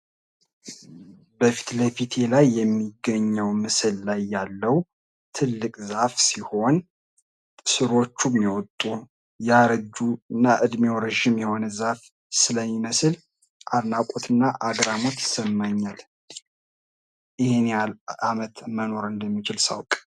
በፊት ለፊቴ ላይ የሚገኘው ምስል ላይ ያለው ትልቅ ዛፍ ሲሆን ስሮቹም የወጡ ያረጁ እና እድሜው ረጅም የሆነ ዛፍ ስለሚመስል አድናቆት እና አግራሞት ይሰማኛል። ይህን ያህል አመት እንደሚኖር ሳውቅ።